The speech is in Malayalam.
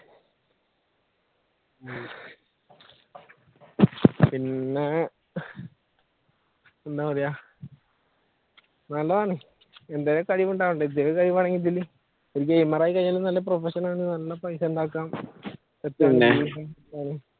എന്താ പറയുക നല്ലതാണ് എന്തെങ്കിലും കഴിവ് ഉണ്ടാകണ്ടേ ഒരു gamer ആയി കഴിഞ്ഞ നല്ല profession നല്ല പൈസ ഉണ്ടാക്കാം